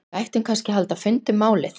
Við ættum kannski að halda fund um málið?